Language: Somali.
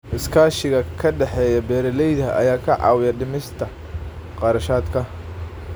Iskaashiga ka dhexeeya beeralayda ayaa ka caawiya dhimista kharashaadka.